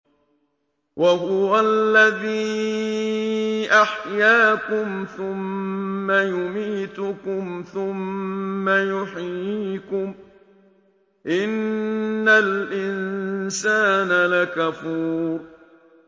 وَهُوَ الَّذِي أَحْيَاكُمْ ثُمَّ يُمِيتُكُمْ ثُمَّ يُحْيِيكُمْ ۗ إِنَّ الْإِنسَانَ لَكَفُورٌ